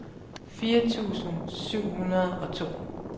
fire tusind syv hundrede og to